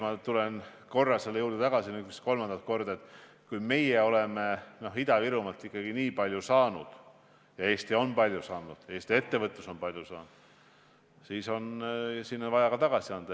Ma tulen veel kord selle juurde tagasi, nüüd vist juba kolmandat korda, et kui meie oleme Ida-Virumaalt nii palju saanud – Eesti on palju saanud, Eesti ettevõtlus on palju saanud –, siis on sinna vaja ka tagasi anda.